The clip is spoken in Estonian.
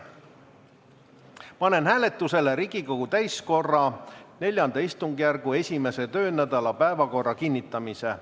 Panen hääletusele Riigikogu täiskogu IV istungjärgu 1. töönädala päevakorra kinnitamise.